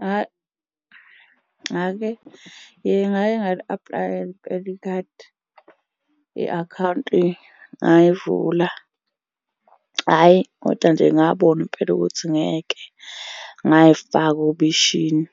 Hhayi, ngake ngake ngali-aplayela impela ikhadi, i-akhawunti ngayivula. Hhayi, koda nje ngabona impela ukuthi ngeke ngay'faka obishini.